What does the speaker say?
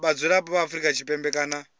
vhadzulapo vha afrika tshipembe kana